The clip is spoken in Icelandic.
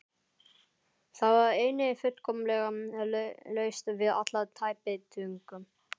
Það var einnig fullkomlega laust við alla tæpitungu.